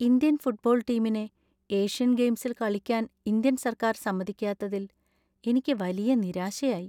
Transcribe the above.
Indian football ടീമിനെ Asian ഗെയിംസിൽ കളിക്കാൻ ഇന്ത്യൻ സർക്കാർ സമ്മതിക്കാത്തതിൽ എനിക്ക് വലിയ നിരാശയായി .